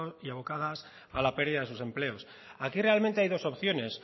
y abocadas a la pérdida de sus empleos aquí realmente hay dos opciones